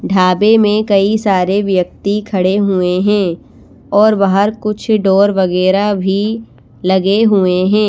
ढाबे में कई सारे व्यक्ति खड़े हुए हैं और बाहर कुछ डोर वगैरह भी लगे हुए हैं।